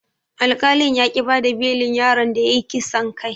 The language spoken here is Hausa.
Alkali yaƙi bada belin yaron da yayi kisan kai.